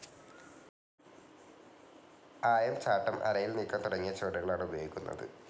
ആയം ചാട്ടം, അരയിൽ നീക്കം തുടങ്ങിയ ചുവടുകളാണ് ഉപയോഗിക്കുന്നത്.